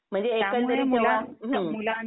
म्हणजे हम्म